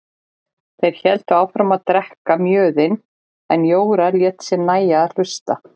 Þeir héldu áfram að drekka mjöðinn en Jóra lét sér nægja að hlusta.